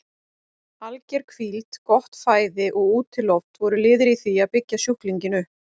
Alger hvíld, gott fæði og útiloft voru liðir í því að byggja sjúklinginn upp.